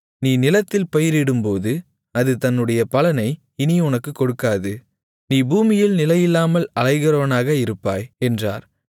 நீ நிலத்தில் பயிரிடும்போது அது தன்னுடைய பலனை இனி உனக்குக் கொடுக்காது நீ பூமியில் நிலையில்லாமல் அலைகிறவனாக இருப்பாய் என்றார்